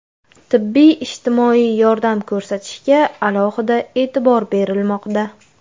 Tibbiy-ijtimoiy yordam ko‘rsatishga alohida e’tibor berilmoqda.